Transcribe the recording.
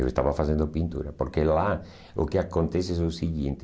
Eu estava fazendo pintura, porque lá o que acontece é o seguinte,